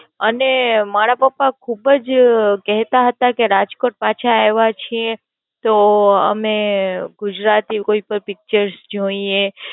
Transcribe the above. અને મારા પાપા ખુબજ કહેતા હતા કે રાજકોટ પાછા આવા છીએ તો અમે ગુજરાતી કોઈ પણ Picture જોઈએ